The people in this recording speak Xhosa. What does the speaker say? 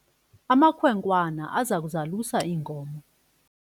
amakhwenkwana aza kuzalusa iinkomo